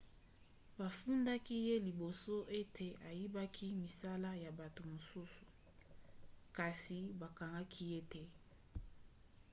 bafundaki ye liboso ete ayibaki misala ya bato mosusu kasi bakangaki ye te